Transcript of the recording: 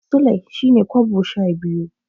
Sulai shine kobo sha biyu.